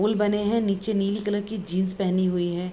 पुल बने हैं। नीचे नीली कलर की जीन्स पहनी हुई है।